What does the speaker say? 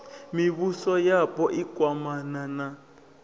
mivhuso yapo i kwamana na